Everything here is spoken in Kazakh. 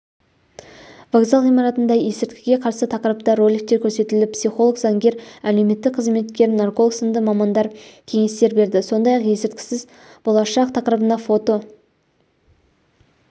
вокзал ғимаратында ескірткіге қарсы тақырыпта роликтер көрсетіліп психолог заңгер әлеуметтік қызметкер нарколог сынды мамандар кеңестер берді сондай-ақ есірткісіз болашақ тақырыбына фото